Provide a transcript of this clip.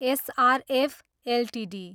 SRF Ltd